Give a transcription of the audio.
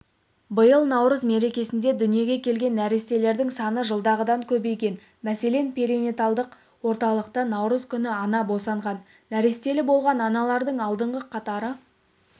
биыл наурыз меркесінде дүниеге келген нәрестелердің саны жылдағадан көбейген мәселен перинаталдық орталықта наурыз күні ана босанған нәрестелі болған аналардың алдыңғы қатары